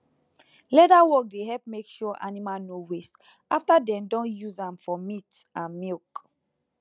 leather work dey help make sure animal no waste after dem don use am for meat and milk